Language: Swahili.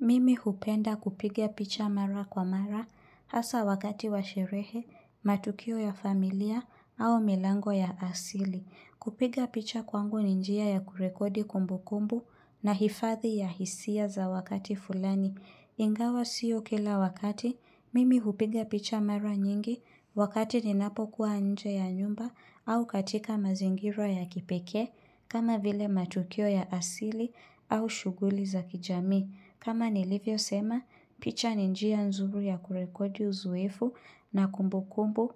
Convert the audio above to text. Mimi hupenda kupiga picha mara kwa mara hasa wakati wa sherehe, matukio ya familia au milango ya asili. Kupiga picha kwangu ni njia ya kurekodi kumbu kumbu na hifathi ya hisia za wakati fulani. Ingawa siyo kila wakati, mimi hupiga picha mara nyingi wakati ninapokuwa nje ya nyumba au katika mazingira ya kipeke kama vile matokio ya asili au shuguli za kijami. Kama nilivyosema, picha ni njia nzuri ya kurekodi uzoefu na kumbu kumbu